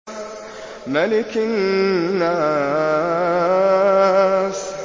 مَلِكِ النَّاسِ